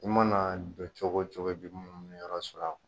I mana jɔ cogo o cogo , i bɛ munu munu yɔrɔ sɔrɔ.